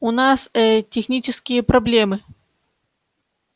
у нас ээ технические проблемы